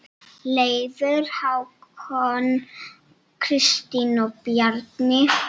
Leifur, Hákon, Kristín og Bjarni.